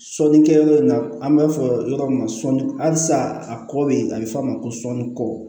Sɔnikɛyɔrɔ in na an b'a fɔ yɔrɔ min ma sɔnni halisa a kɔ bɛ yen a bɛ fɔ a ma ko sɔɔni kɔ